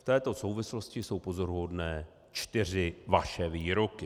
V této souvislosti jsou pozoruhodné čtyři vaše výroky.